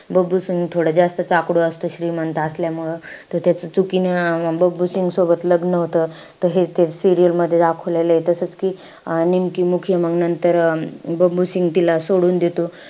बबलू सिंग थोडा जास्तच आकडू असतो श्रीमंत असल्यामुळं. त त्याच चुकीने अं बबलू सिंग सोबत लग्न होतं. त हे ते serial मध्ये दाखवलेलंय. तसंच कि निमकी मुखिया नंतर अं बबलू सिंग तिला सोडून देतो.